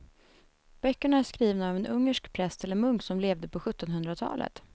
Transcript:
Böckerna är skrivna av en ungersk präst eller munk som levde på sjuttonhundratalet.